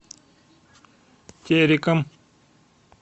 тереком